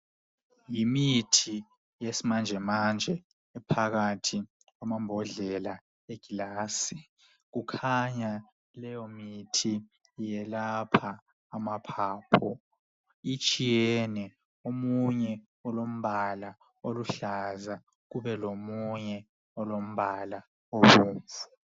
yimithi yesimanjemanje ephakathi kwamabhodlela wegilasi kukhanya leyomithi iyelapha amaphapho itshiyene omunye ulompala oluhlaza kubelomunye olompala obomvu